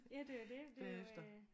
Ja det er jo det det er jo øh